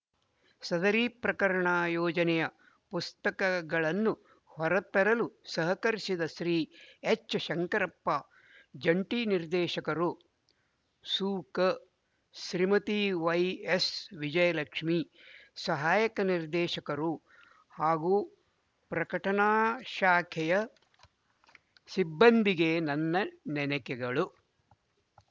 ಸದರಿ ಪ್ರಕರ್ಣ ಯೋಜನೆಯ ಪುಸ್ತಕಗಳನ್ನು ಹೊರತರಲು ಸಹಕರಿಸಿದ ಶ್ರೀ ಎಚ್ ಶಂಕರಪ್ಪ ಜಂಟಿ ನಿರ್ದೇಶಕರು ಸುಕ ಶ್ರೀಮತಿ ವೈಎಸ್ವಿಜಯಲಕ್ಷ್ಮಿ ಸಹಾಯಕ ನಿರ್ದೇಶಕರು ಹಾಗೂ ಪ್ರಕಟಣಾ ಶಾಖೆಯ ಸಿಬ್ಬಂದಿಗೆ ನನ್ನ ನೆನಕೆಗಳು